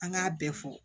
An k'a bɛɛ fɔ